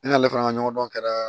Ne n'ale fana ka ɲɔgɔn dɔn kɛra